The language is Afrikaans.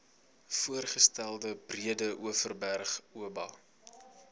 voorgestelde breedeoverberg oba